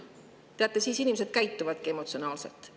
Teate, siis inimesed käituvadki emotsionaalselt.